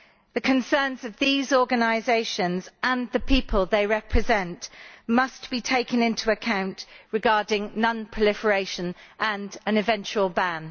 The concerns of these organisations and the people they represent must be taken into account regarding non proliferation and an eventual ban.